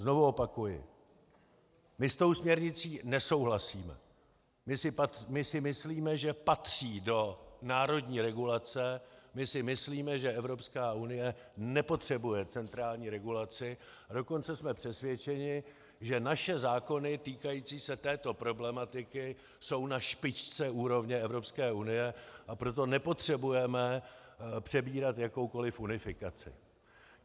Znovu opakuji, my s tou směrnicí nesouhlasíme, my si myslíme, že patří do národní regulace, my si myslíme, že Evropská unie nepotřebuje centrální regulaci, a dokonce jsme přesvědčeni, že naše zákony týkající se této problematiky jsou na špičce úrovně Evropské unie, a proto nepotřebujeme přebírat jakoukoli unifikaci.